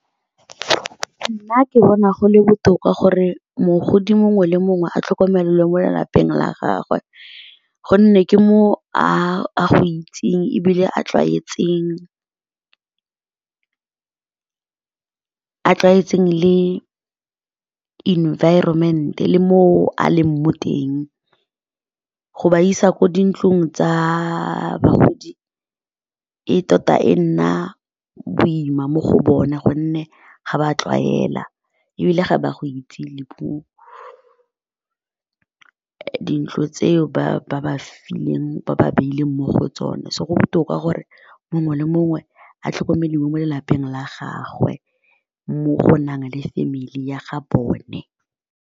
Nna ke bona go le botoka gore mogodi mongwe le mongwe a tlhokomelelwe mo lelapeng la gagwe gonne ke mo a itseng ebile a tlwaetseng le environment le mo a leng mo teng go ba isa ko dintlong tsa bagodi e tota e nna boima mo go bona gonne ga ba tlwaela ebile ga ba go itse le puo dintlo tseo ba ba fileng ba ba beileng mo go tsone, so go botoka gore mongwe le mongwe a tlhokomedi mo mo lelapeng la gagwe mo go nang le family ya ga bone.